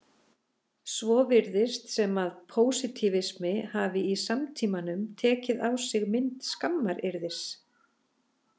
Svo virðist sem að pósitífismi hafi í samtímanum tekið á sig mynd skammaryrðis.